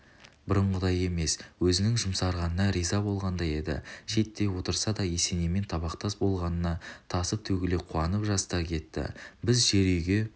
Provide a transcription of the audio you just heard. бұрынғыдай емес өзінің жұмсарғанына риза болғандай еді шеттей отырса да есенеймен табақтас болғанына тасып-төгіле қуанып жастар кетті біз жер үйге